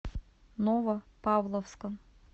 новопавловском